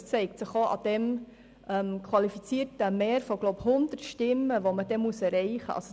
Das zeigt sich auch an diesem qualifizierten Mehr von 100 Stimmen, das man erreichen muss.